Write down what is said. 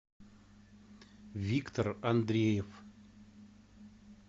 виктор андреев